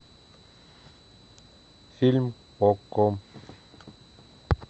фильм окко